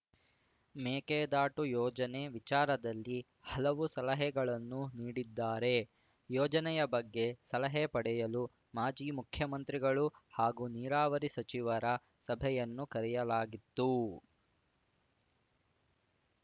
ಮೇಕೆದಾಟು ಯೋಜನೆ ವಿಚಾರದಲ್ಲಿ ಹಲವು ಸಲಹೆಗಳನ್ನು ನೀಡಿದ್ದಾರೆ ಯೋಜನೆಯ ಬಗ್ಗೆ ಸಲಹೆ ಪಡೆಯಲು ಮಾಜಿ ಮುಖ್ಯಮಂತ್ರಿಗಳು ಹಾಗೂ ನೀರಾವರಿ ಸಚಿವರ ಸಭೆಯನ್ನು ಕರೆಯಲಾಗಿತ್ತು